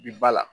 Bi ba la